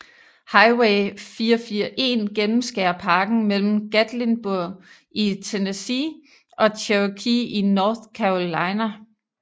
Highway 441 gennemskærer parken mellem Gatlinburg i Tennessee og Cherokee i North Carolina